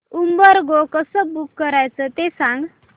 Uber Go कसं book करायचं ते सांग